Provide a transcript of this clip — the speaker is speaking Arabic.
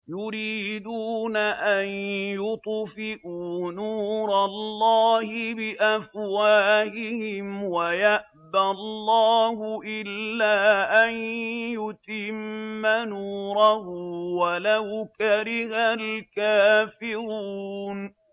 يُرِيدُونَ أَن يُطْفِئُوا نُورَ اللَّهِ بِأَفْوَاهِهِمْ وَيَأْبَى اللَّهُ إِلَّا أَن يُتِمَّ نُورَهُ وَلَوْ كَرِهَ الْكَافِرُونَ